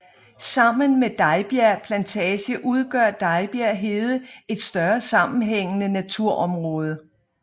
Sammen med Dejbjerg Plantage udgør Dejbjerg hede et større sammenhængende naturområde